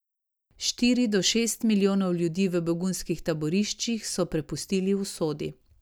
Štiri do šest milijonov ljudi v begunskih taboriščih so prepustili usodi.